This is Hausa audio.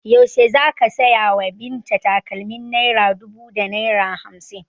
Yaushe za ka saya wa Binta takalmin naira dubu da naira hamsin?